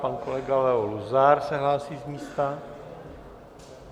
Pan kolega Leo Luzar se hlásí z místa.